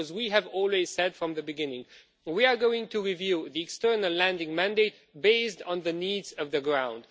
We have always said from the beginning that we were going to review the External Lending Mandate based on the needs on the ground